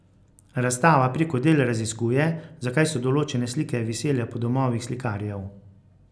Razstava preko del raziskuje, zakaj so določene slike visele po domovih slikarjev.